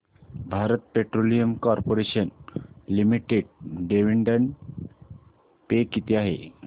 Bharat petroleum corporation limited dividend pay किती आहे